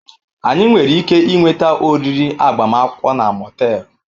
Anyị nwere ike ịnweta oriri agbamakwụkwọ na Motel?